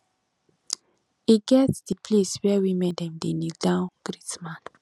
e get di place where women dem dey kneel down greet men